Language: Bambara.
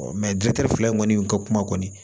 dutatɛri fila in kɔni ka kuma kɔni